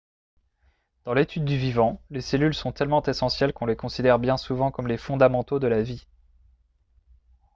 dans l'étude du vivant les cellules sont tellement essentielles qu'on les considère bien souvent comme les fondamentaux de la vie